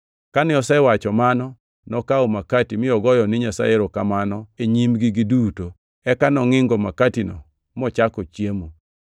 Kane osewacho mano, nokawo makati mi ogoyo ni Nyasaye erokamano e nyimgi giduto. Eka nongʼingo makatino mochako chiemo.